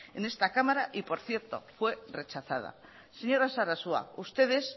en esta cámara y por cierto fue rechazada señora sarasua ustedes